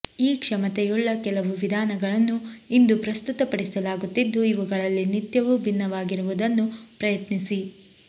ಈ ಕ್ಷಮತೆಯುಳ್ಳ ಕೆಲವು ವಿಧಾನಗಳನ್ನು ಇಂದು ಪ್ರಸ್ತುತಪಡಿಸಲಾಗುತ್ತಿದ್ದು ಇವುಗಳಲ್ಲಿ ನಿತ್ಯವೂ ಭಿನ್ನವಾಗಿರುವುದನ್ನು ಪ್ರಯತ್ನಿಸಿ